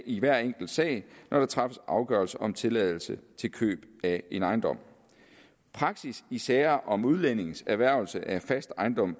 i hver enkelt sag når der træffes afgørelse om tilladelse til køb af en ejendom praksis i sager om udlændinges erhvervelse af fast ejendom